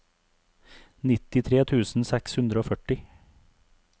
nittitre tusen seks hundre og førti